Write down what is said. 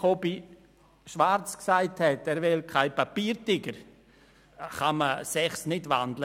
Die Ziffer 3 ist in ein Postulat umgewandelt worden.